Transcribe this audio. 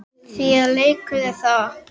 Margir fengu að njóta hennar.